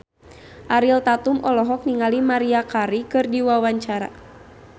Ariel Tatum olohok ningali Maria Carey keur diwawancara